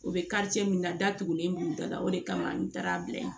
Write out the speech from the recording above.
U bɛ min na datugulen b'u da la o de kama n taara a bila yen